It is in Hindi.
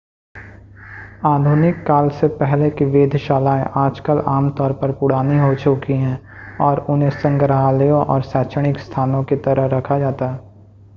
आधुनिक काल से पहले की वेधशालाएं आजकल आम तौर पर पुरानी हो चुकी हैं और उन्हें संग्रहालयों या शैक्षणिक स्थानों की तरह रखा जाता है